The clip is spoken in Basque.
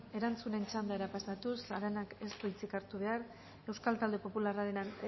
erantzunen txandara pasatuz aranak ez du hitzik hartu behar euskal talde popularraren